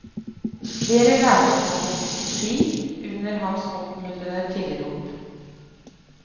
Flere lærte å gå på ski under hans oppmuntrende tilrop.